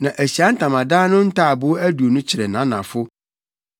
Na Ahyiae Ntamadan no ntaaboo aduonu kyerɛ nʼanafo